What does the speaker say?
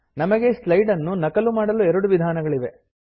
ನಮಗೆ ಸ್ಲೈಡ್ ನ್ನು ನಕಲು ಮಾಡಲು ಎರಡು ವಿಧಾನಗಳಿವೆ